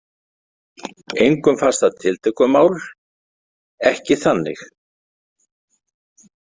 Engum fannst það tiltökumál, ekki þannig.